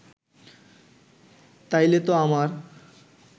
তাইলেতো আমার